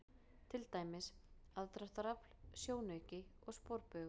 Til dæmis: aðdráttarafl, sjónauki og sporbaugur.